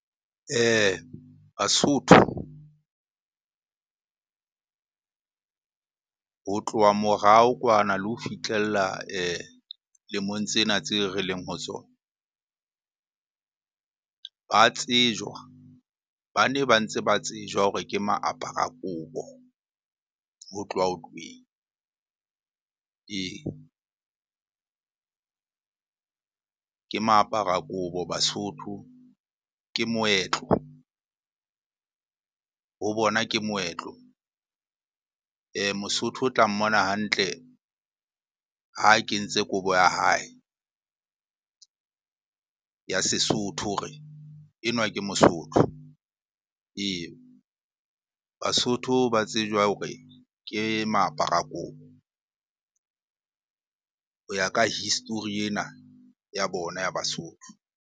Basotho ho tloha morao kwana le ho fitlhella lemong tsena tseo re leng ho tsona. Ba tsejwa, ba ne ba ntse ba tsejwa hore ke maapara kobo ho tloha hotlweng. Ee, ke ma apara kobo basotho. Ke moetlo, ho bona ke moetlo. Mosotho o tla mmona hantle ha kentse kobo ya hae ya Sesotho hore enwa ke mosotho. Ee, Basotho ba tsejwa hore ke maapara kobo ho ya ka history ena ya bona ya Basotho.